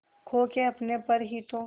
खो के अपने पर ही तो